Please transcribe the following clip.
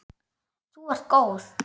Þú ert góð!